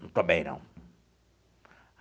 Não estou bem, não.